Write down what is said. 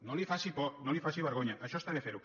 no li faci por no li faci vergonya això està bé fer·ho